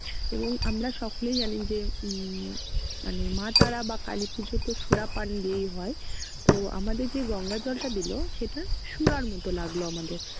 এবং আমরা সকলেই জানি যে উম মানে মা তারা বা কালী পূজো তো শূরা পান দিয়েই হয়। তো আমাদের যে গঙ্গা জলটা দিলো সেটা শূরার মতো লাগলো আমাদের